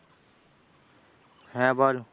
হ্যাঁ বল।